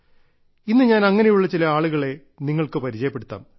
ഇന്ന് ഞാൻ അങ്ങനെയുള്ള ചില ആളുകളെ നിങ്ങൾക്ക് പരിചയപ്പെടുത്താം